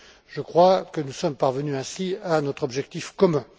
Je crois que nous sommes parvenus, ainsi, à notre objectif commun.